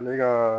Ne ka